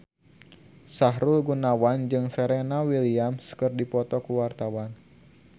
Sahrul Gunawan jeung Serena Williams keur dipoto ku wartawan